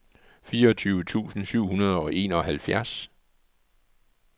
fireogtyve tusind syv hundrede og enoghalvfjerds